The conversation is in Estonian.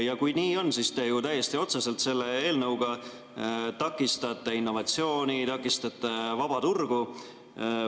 Ja kui nii on, siis te ju täiesti otseselt selle eelnõuga takistate innovatsiooni, takistate vaba turgu.